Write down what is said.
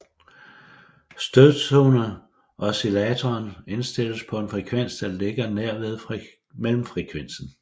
Stødtoneoscillatoren indstilles på en frekvens der ligger nær ved mellemfrekvensen